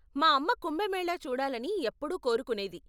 మా అమ్మ కుంభమేళా చూడాలని ఎప్పుడూ కోరుకునేది.